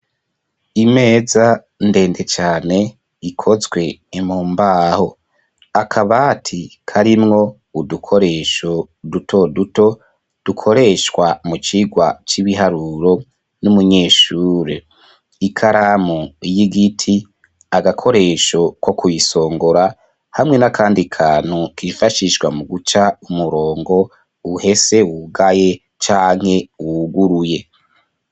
imeza ndende cane ikozwe mumbaho akabati karimwo udukoresho duto duto dukoreshwa mu cigwa c'ibiharuro n'umunyeshure ikaramu y'igiti agakoresho ko kuyisongora hamwe n'akandi kantu kifashishwa mu guca umurongo uhese wugaye canke wuguruye